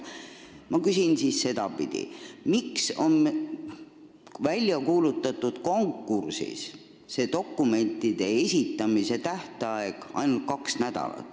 Ma küsin siis sedapidi: miks on selle välja kuulutatud konkursi puhul dokumentide esitamise tähtaeg ainult kaks nädalat?